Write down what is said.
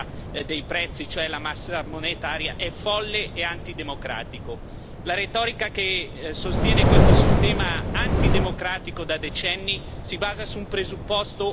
La retorica che sostiene questo sistema antidemocratico da decenni si basa su un presupposto che la crisi ha smentito, quello che stampando moneta si crei inflazione.